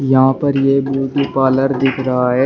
यहां पर एक ब्यूटी पार्लर दिख रहा है।